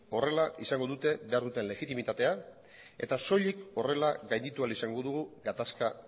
horrela izango dute behar duten legitimitatea eta soilik horrela gainditu ahal izango dugu gatazka